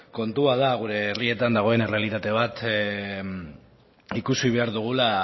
kontua da gure herrietan dagoen errealitate bat ikusi behar dugula